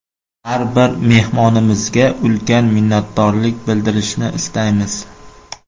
Har bir mehmonimizga ulkan minnatdorlik bildirishni istaymiz!